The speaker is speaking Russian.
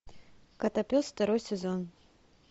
котопес второй сезон